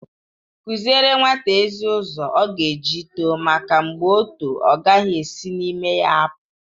Kụziere nwata ezi ụzọ ọ ga eji too make mgbe o too ọ gaghị esi n'ime ya apụ.